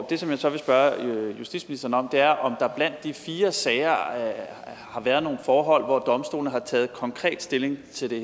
det som jeg så vil spørge justitsministeren om er om der blandt de fire sager har været nogle forhold hvor domstolene har taget konkret stilling til det